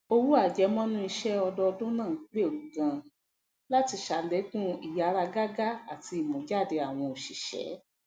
owó àjẹmọnú isẹ ọdọọdún náà gbèrú ganan láti sàlékún ìyáragágá àti ìmújáde àwọn òṣìṣẹ